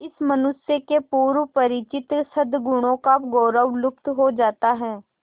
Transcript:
इस मनुष्य के पूर्व परिचित सदगुणों का गौरव लुप्त हो जाता है